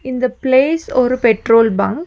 இந்த பிளேஸ் ஒரு petrol bunk .